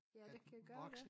Ja det kan gøre det